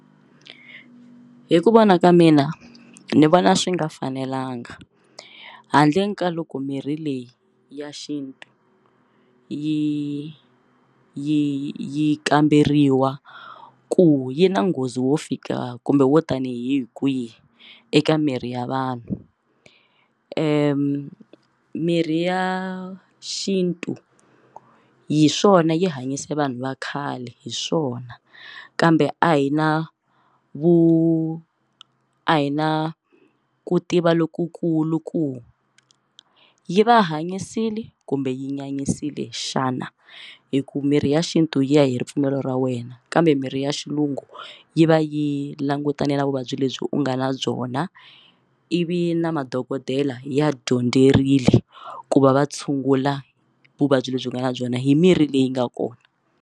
Hi ku vona ka mina ni vona swi nga fanelanga handle ka loko mirhi leyi ya xintu yi yi yi kamberiwa ku yi na nghozi wo fika kumbe wo tanihi kwihi eka miri ya vanhu mirhi ya xintu hi swona yi hanyise vanhu va khale hi swona kambe a hi na vu a hi na ku tiva lokukulu ku yi va hanyisile kumbe yi nyanyisile xana hi ku mirhi ya xintu yi ya hi ripfumelo ra wena kambe mirhi ya xilungu yi va yi langutane na vuvabyi lebyi u nga na byona ivi na madokodela ya dyondzerile ku va va tshungula vuvabyi lebyi nga na byona hi mirhi leyi nga kona.